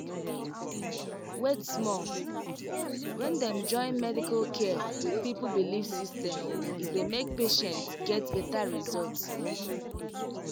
wait small — when dem join medical care with people belief system e dey make patient get better result.